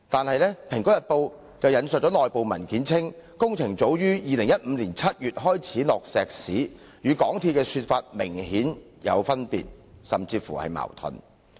可是，《蘋果日報》其後引述內部文件，指工程早於2015年7月便開始落石屎，與港鐵公司的說法明顯有出入。